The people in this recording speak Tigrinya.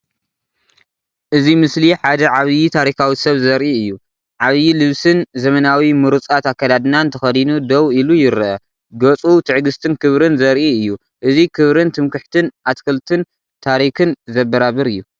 እዚ ምስሊ ሓደ ዓቢ ታሪኻዊ ሰብ ዘርኢ እዩ። ዓቢይ ልብስን ዘመናዊ ምሩጻት ኣከዳድናን ተኸዲኑ ደው ኢሉ ይረአ። ገጹ ትዕግስትን ክብርን ዘርኢ እዩ። እዚ ክብርን ትምክሕትን ኣትክልትን ታሪኽን ዘበራብር እዩ።